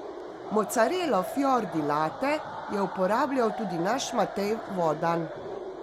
Mocarelo fior di latte je uporabljal tudi naš Matej Vodan.